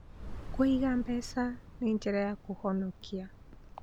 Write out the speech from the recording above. Kũiga mbeca nĩ njĩra ya kũhonokia.